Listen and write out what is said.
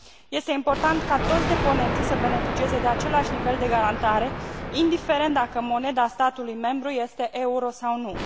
Este important ca toți deponenții să beneficieze de același nivel de garantare, indiferent dacă moneda statului membru este euro sau nu.